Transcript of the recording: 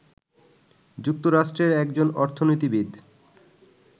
যুক্তরাষ্ট্রের একজন অর্থনীতিবিদ